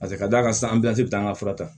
Paseke ka d'a kan san bɛ taa an ka fura ta